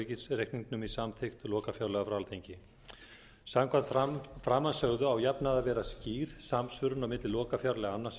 á ríkisreikningnum í samþykkt lokafjárlaga frá alþingi samkvæmt framansögðu á að jafnaði að vera skýr samsvörun á milli lokafjárlaga annars